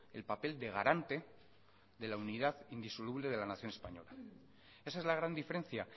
el papel de garante de la unidad indisoluble de la nación española esa es la gran diferencia